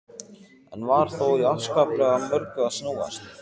Enn var þó í afskaplega mörgu að snúast.